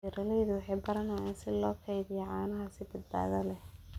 Beeraleydu waxay baranayaan sida loo kaydiyo caanaha si badbaado leh.